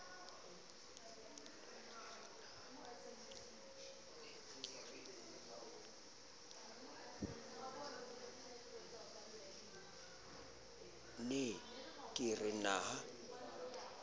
ne ke re na ha